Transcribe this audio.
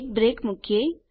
એક બ્રેક મુકીએ